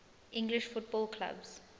english football clubs